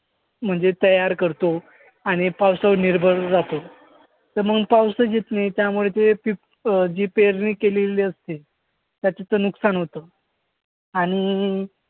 म्हणजे तयार करतो आणि पावसावर निर्भर राहतो. तर मग पाऊसच येत नाही. त्यामुळे ते पीक अं जी पेरणी केलेली असते त्याचं तर नुकसान होतं आणि